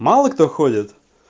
мало кто ходит